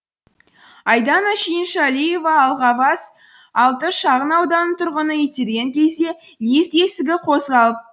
айдана шүйіншалиева алғабас алты шағын ауданының тұрғыны итерген кезде лифт есігі қозғалды